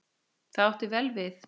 Það átti vel við.